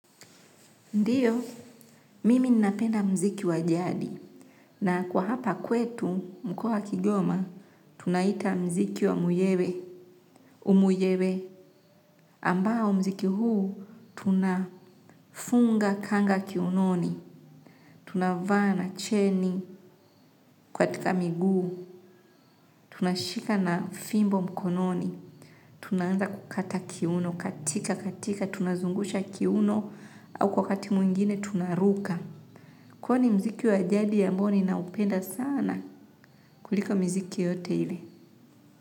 Ndiyo, mimi ninapenda muziki wa jadi na kwa hapa kwetu, mkoa wa Kigoma, tunauita muziki wa muyewe, umuyewe. Ambao muziki huu tunafunga kanga kiunoni, tunavaa cheni. Katika miguu, tunashika na fimbo mkononi, tunaanza kukata kiuno kutika kutika, tunazungusha kiuno au kwa mtindo mwingine tunaruka. Kwa ni muziki wa jadi wa mboni na naupenda sana kuliko muziki yote ile.